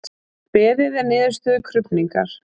Beðið er niðurstöðu krufningar